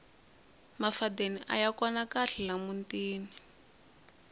mafadeni aya kona kahle la mutini